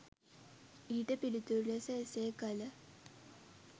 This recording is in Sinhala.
ඊට පිළිතුරු ලෙස එසේ කල